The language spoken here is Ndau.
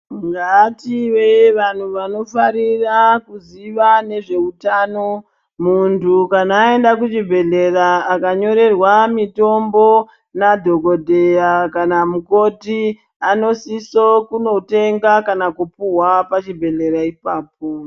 Ngative vanhu vanofarira kuziva nezveutano. Muntu kana eyenda kuchibhedhlera akanyorerwa mitombo nadhokodheya kana mukoti anosiso kunotenga kana kupuhwa pachibhedhera ipapo.